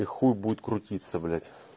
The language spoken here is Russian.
и хуй будет крутиться блять